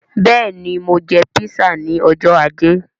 Bẹẹni, Mo jẹ písà ní ọjọ́ ajé.